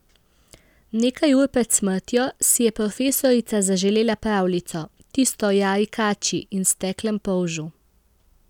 Nekaj ur pred smrtjo si je profesorica zaželela pravljico, tisto o Jari kači in steklem polžu.